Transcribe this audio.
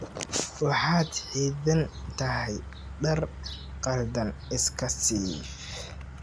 Waxaad xidhan tahay dhar khaldan, iska siib!